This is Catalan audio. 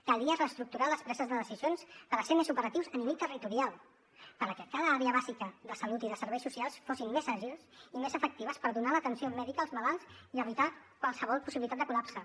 calia reestructurar les preses de decisions per ser més operatius a nivell territorial perquè cada àrea bàsica de salut i de serveis socials fossin més àgils i més efectives per donar l’atenció mèdica als malalts i evitar qualsevol possibilitat de col·lapse